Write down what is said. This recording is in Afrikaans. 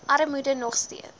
armoede nog steeds